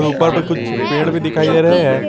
ऊपर में कुछ पेड़ भी दिखाई दे रहे हैं।